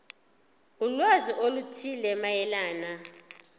ulwazi oluthile mayelana